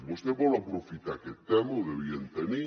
vostè vol aprofitar aquest tema ho devien tenir